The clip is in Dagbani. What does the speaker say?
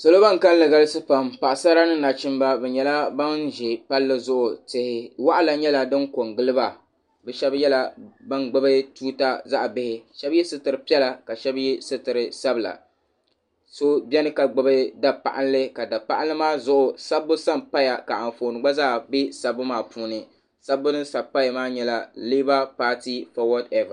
Bi niŋdi layiti ka yɛ liiga buluu ni yelo gabi ka pili zipiligu whayite ka saɣiri gungɔŋ zaya ka nyɛ biranwu ka waya nima bɛni ka pooli dari bɛni.